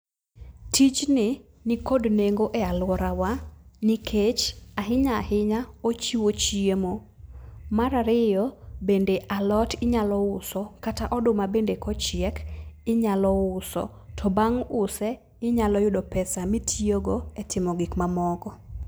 Tijni nikod nengo e alworawa. Nikech ahinya ahinya, ochiwo chiemo. Mar ariyo, bende alot inyalo uso, kata oduma bende kochiek inyalo uso. To bang' use, inyalo yudo pesa mitiyogo e timo gik mamoko.